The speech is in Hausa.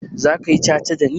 Zaka yi ca-ca dani?